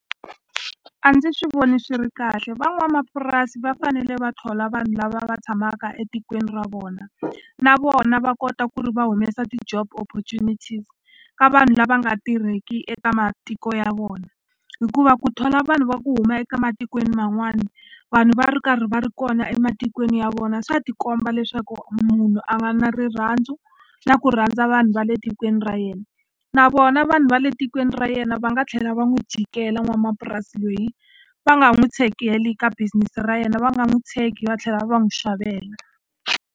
A ndzi swi voni swi ri kahle van'wamapurasi va fanele va thola vanhu lava va tshamaka etikweni ra vona, na vona va kota ku ri va humesa ti-job opportunities ka vanhu lava nga tirheki eka matiko ya vona. Hikuva ku thola vanhu va ku huma eka matikweni man'wani, vanhu va ri karhi va ri kona ematikweni ya vona, swa ti komba leswaku munhu a nga na rirhandzu na ku rhandza vanhu va le tikweni ra yena. Na vona vanhu va le tikweni ra yena va nga tlhela va n'wi jikela n'wanamapurasi loyi, va nga n'wi tshegi helo eka business ra yena. Va nga n'wi tshegi va tlhela va n'wi xavela.